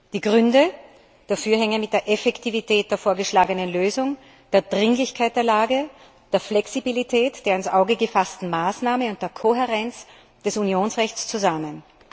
Die Gründe für meine Präferenz hängen mit der Effektivität der vorgeschlagenen Lösung, der Dringlichkeit der Lage, der Flexibilität der ins Auge gefassten Maßnahmen und der Kohärenz des Unionsrechts zusammen.